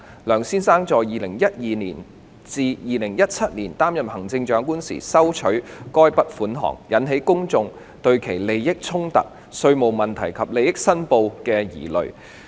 梁先生在2012年至2017年擔任行政長官時收取該筆款項，引起公眾對其利益衝突、稅務問題及利益申報的疑慮。